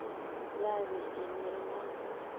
ya be e le la